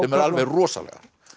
eru alveg rosalegar